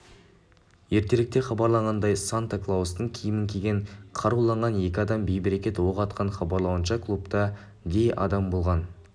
ертеректе хабарланғандай санта-клаустың киімін киген қаруланған екі адам бейберекет оқ атқан хабарлауынша клубта дей адам болған